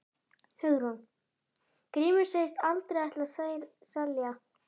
Hugrún: Grímur segist aldrei ætla að selja?